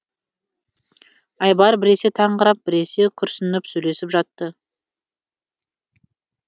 айбар біресе таңырқап біресе күрсініп сөйлесіп жатты